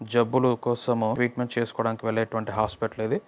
జబ్బుల కోసం ట్రీట్మెంట్ చేసుకోవడానికి వెళ్లే ఎటువంటి హాస్పిటల్ ఇది.